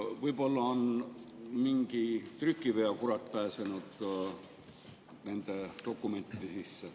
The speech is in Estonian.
Võib-olla on mingi trükiveakurat pääsenud nende dokumentide sisse?